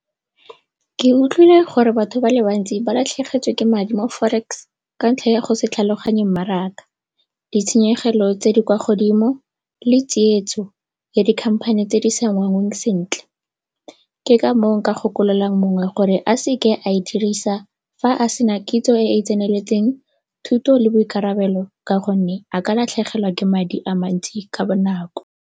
Ke utlwile gore batho ba le bantsi ba latlhegetswe ke madi mo forex ka ntlha ya go se tlhaloganye mmaraka, ditshenyegelo tse di kwa godimo le tsietso ya dikhamphane tse di sa sentle. Ke ka foo nka gakololang mongwe gore a seke a e dirisa fa a sena kitso e e tseneletseng, thuto le boikarabelo ka go nne a ka latlhegelwa ke madi a mantsi ka bonako.